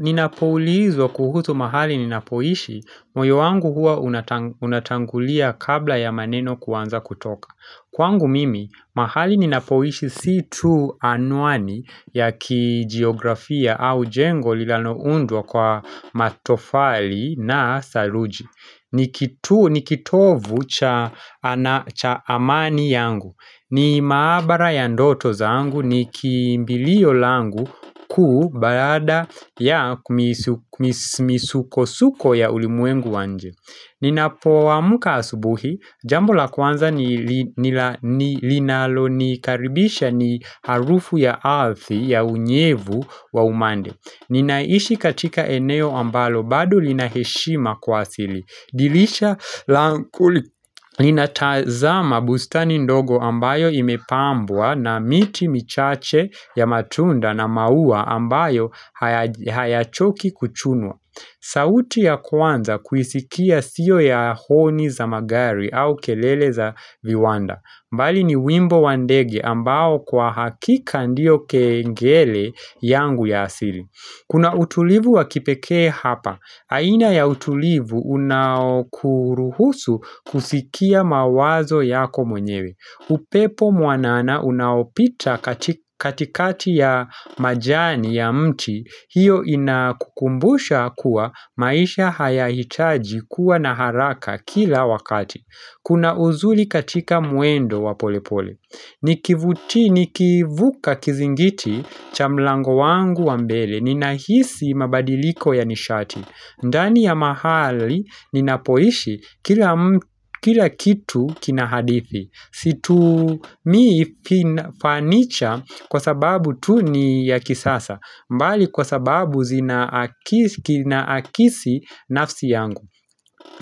Ninapoulizwa kuhusu mahali ninapoishi, moyo wangu hua unatangulia kabla ya maneno kuanza kutoka. Kwangu mimi, mahali ninapoishi si tu anwani ya kijiografia au jengo lililoundwa kwa matofali na saruji. Ni kitovu cha amani yangu, ni maabara ya ndoto zangu, ni kimbilio langu kuu baada ya misukosuko ya ulimwengu wa nje Ninapo amka asubuhi, jambo la kwanza ni linalonikaribisha ni harufu ya ardhi ya unyevu wa umande. Ninaishi katika eneo ambalo bado linaheshima kwa asili. Dirisha linatazama bustani ndogo ambayo imepambwa na miti michache ya matunda na maua ambayo hayachoki kuchunwa. Sauti ya kwanza kuisikia sio ya honi za magari au kelele za viwanda. Bali ni wimbo wa ndege ambao kwa hakika ndio kengele yangu ya asili. Kuna utulivu wakipekee hapa. Aina ya utulivu unaokuruhusu kusikia mawazo yako mwenyewe. Upepo mwanana unaopita katikati ya majani ya mti. Hiyo inakukumbusha kuwa maisha hayahitaji kuwa na haraka kila wakati. Kuna uzuri katika mwendo wa polepole. Nikivuka kizingiti cha mlango wangu wa mbele, ninahisi mabadiliko ya nishati ndani ya mahali ninapoishi kila kila kitu kinahadithi Situmii fanicha kwa sababu tu ni ya kisasa bali kwa sababu zinaakisi nafsi yangu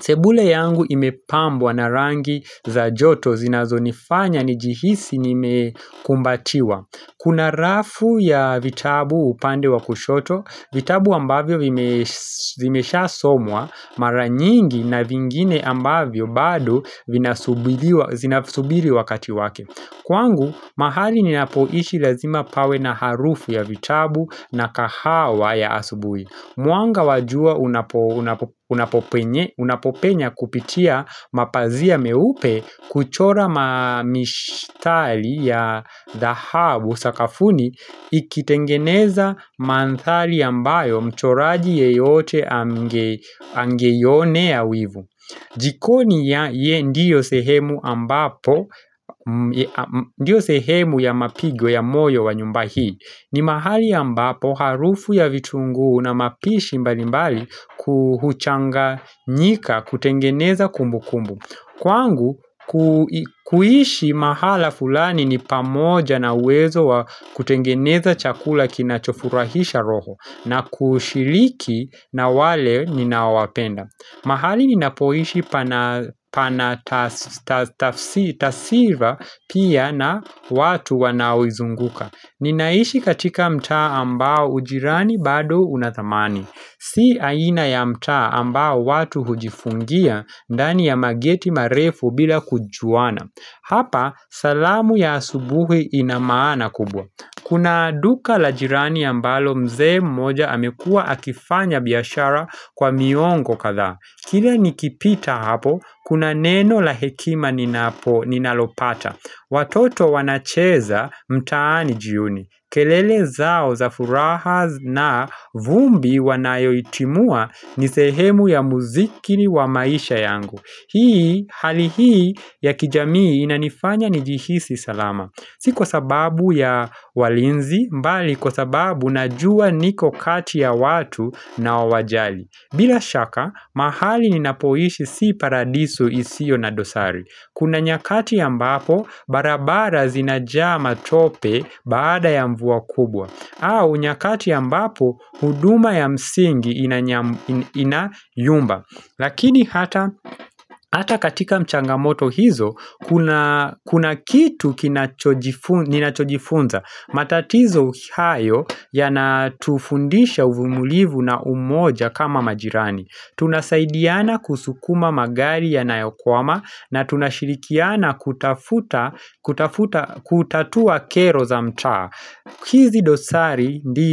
Sebule yangu imepambwa na rangi za joto zinazonifanya nijihisi nimekumbatiwa. Kuna rafu ya vitabu upande wa kushoto, vitabu ambavyo zimeshasomwa Mara nyingi na vingine ambavyo bado vinasubiriwa vinasubiri wakati wake. Kwangu, mahali ninapoishi lazima pawe na harufu ya vitabu na kahawa ya asubuhi Mwanga wa jua unapopenya kupitia mapazia meupe kuchora mamishtali ya dahabu sakafuni ikitengeneza mandhari ambayo mchoraji yeyote angeionea wivu. Jikoni ndiyo sehemu ya mapigo ya moyo wa nyumba hii. Ni mahali ambapo harufu ya vitunguu na mapishi mbali mbali huchanganyika kutengeneza kumbukumbu. Kwangu, kuishi mahala fulani ni pamoja na uwezo wa kutengeneza chakula kinachofurahisha roho na kushiriki na wale ninaowapenda. Mahali ninapoishi pana tasiva pia na watu wanaoizunguka Ninaishi katika mtaa ambao ujirani bado unathamani Si aina ya mtaa ambao watu hujifungia dani ya mageti marefu bila kujuana Hapa salamu ya asubuhi inamaana kubwa. Kuna duka la jirani ambalo mzee mmoja amekua akifanya biashara kwa miongo kadhaa. Kila nikipita hapo kuna neno la hekima ninapo ninalopata. Watoto wanacheza mtaani jioni kelele zao za furaha na vumbi wanayoitimua ni sehemu ya muzikiri wa maisha yangu. Hii hali hii ya kijamii inanifanya njihisi salama Sio kwa sababu ya walinzi bali kwa sababu najua niko kati ya watu ninaowajali. Bila shaka mahali ninapoishi si paradiso isio na dosari. Kuna nyakati ambapo barabara zinajaa matope baada ya mvua kubwa au nyakati ambapo huduma ya msingi inayumba Lakini hata katika changamoto hizo kuna kitu ninachojifunza, matatizo hayo yanatufundisha uvumulivu na umoja kama majirani. Tunasaidiana kusukuma magari yanayokwama na tunashirikiana kutatua kero za mtaa Kizi dosari ndizo.